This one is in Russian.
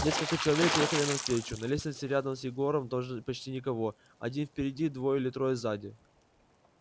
несколько человек ехали навстречу на лестнице рядом с егором тоже почти никого один впереди двое или трое сзади